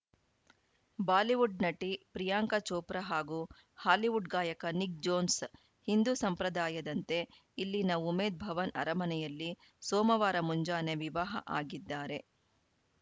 Bollywood ನಟಿ ಪ್ರಿಯಾಂಕಾ ಚೋಪ್ರಾ ಹಾಗೂ Hollywood ಗಾಯಕ ನಿಕ್‌ ಜೋನ್ಸ್‌ ಹಿಂದು ಸಂಪ್ರದಾಯದಂತೆ ಇಲ್ಲಿನ ಉಮೇದ್‌ ಭವನ್‌ ಅರಮನೆಯಲ್ಲಿ ಸೋಮವಾರ ಮುಂಜಾನೆ ವಿವಾಹ ಆಗಿದ್ದಾರೆ